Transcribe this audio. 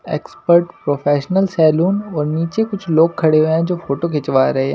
Expert professional salon और नीचे कुछ लोग खड़े हुए हैं जो फोटो खिंचवा रहे हैं।